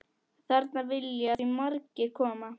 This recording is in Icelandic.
Þarna vilja því margir koma.